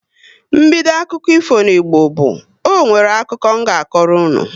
Mbido akụkọ ifo n'Igbo bu " Ọ nwere akụkọ m nga akọrọ unu"